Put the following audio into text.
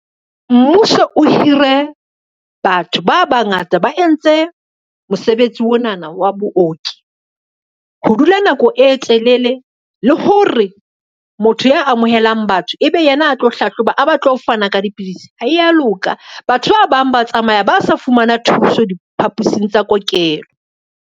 Mmuso o hire, batho ba bangata ba entse mosebetsi onana wa booki. Ho dula nako e telele le hore re motho ya amohelang batho, ebe yena a tlo hlahloba, a ba tlo fana ka dipidisi ha ya loka, batho ba bang ba tsamaya ba sa fumana thuso diphapusing tsa kokelo.